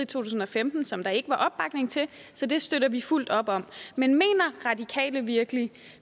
tusind og femten som der ikke var opbakning til så det støtter vi fuldt op om men mener radikale virkelig